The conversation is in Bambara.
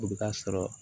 O bɛ ka sɔrɔ